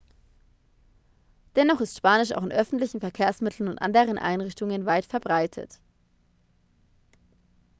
dennoch ist spanisch auch in öffentlichen verkehrsmitteln und anderen einrichtungen weit verbreitet